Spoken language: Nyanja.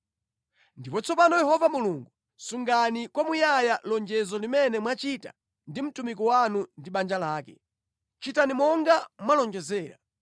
“Ndipo tsopano Yehova Mulungu, sungani kwamuyaya lonjezo limene mwachita ndi mtumiki wanu ndi banja lake. Chitani monga mwalonjezera,